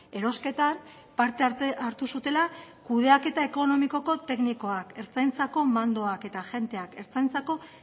erosketan parte hartu zutela kudeaketa ekonomikoko teknikoak ertzaintzako mandoak eta agenteak ertzaintzako